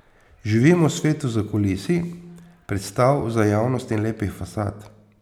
Živimo v svetu zakulisij, predstav za javnost in lepih fasad.